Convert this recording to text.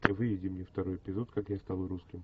выведи мне второй эпизод как я стал русским